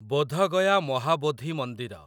ବୋଧ ଗୟା ମହାବୋଧି ମନ୍ଦିର